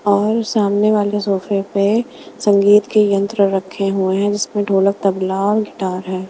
और सामने वाले सोफे पे संगीत के यंत्र रखे हुए हैं जिसमें ढोलक तबला और गिटार है .